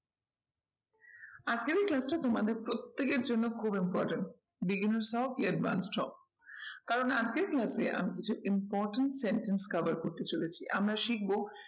আজকের এই class টা তোমাদের প্রত্যেকের জন্য খুব important beginner হও কি advance হও কারণ আজকের class এ আমি কিছু important sentence cover করতে চলেছি। আমরা